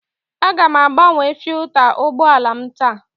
Aga m agbanwe filta ụgbọ ala m taa.